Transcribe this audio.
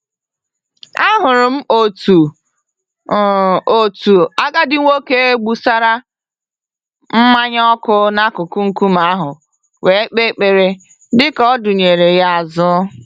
Ahụrụ m otu m otu agadi nwoke gbụsara mmanya ọkụ n'akụkụ nkume ahụ wee kpee ekpere, dịka ọdụnyeere yá azụ.